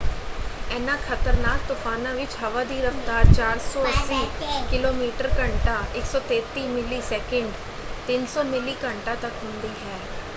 ਇਹਨਾਂ ਖਤਰਨਾਕ ਤੂਫ਼ਾਨਾਂ ਵਿੱਚ ਹਵਾ ਦੀ ਰਫ਼ਤਾਰ 480 ਕਿ.ਮੀ/ਘੰਟਾ 133 ਮੀ./ਸੈਕਿੰਡ; 300 ਮੀਲ/ਘੰਟਾ ਤੱਕ ਹੁੰਦੀ ਹੈ।